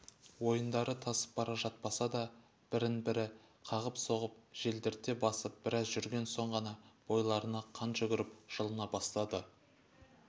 ойындары тасып бара жатпаса да бірін-бірі қағып-соғып желдірте басып біраз жүрген соң ғана бойларына қан жүгіріп жылына бастады